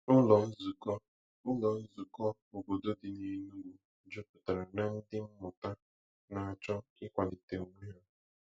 Ụlọ nzukọ Ụlọ nzukọ obodo dị n'Enugu jupụtara na ndị mmụta na-achọ ịkwalite onwe ha.